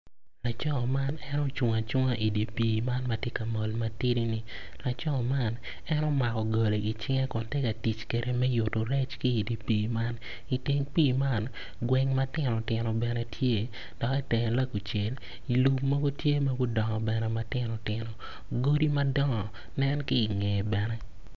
Laco man en ocung acunga i dye pii man ma tye ka mol matidi-ni laco man omako goli i cinge kun tye ka tic kwede me mako rec ki i dye pii man i teng pii man gweng matino tino bene tye dok i teng lakucel lum mogo bene tye ma gudongo matinotino godi madong nen ki i ngeye bene.